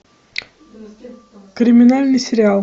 криминальный сериал